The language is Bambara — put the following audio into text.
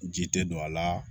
Ji tɛ don a la